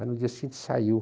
Aí no dia seguinte saiu.